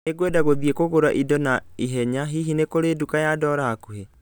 Nĩ ngwenda gũthiĩ kũgũra indo na ihenya hihi nĩ kũrĩ na nduka ya dola hakuhĩ